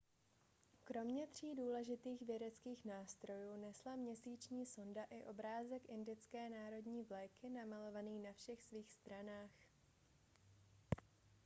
kromě tří důležitých vědeckých nástrojů nesla měsíční sonda i obrázek indické národní vlajky namalovaný na všech svých stranách